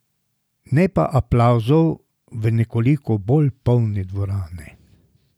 Ne pa aplavzov v nekoliko bolj polni dvorani.